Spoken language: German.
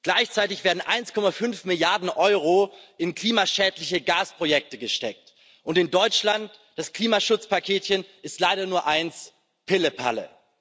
Gleichzeitig werden 1,5 Milliarden EUR in klimaschädliche Gasprojekte gesteckt, und in Deutschland ist das Klimaschutzpaketchen leider nur eines Pillepalle.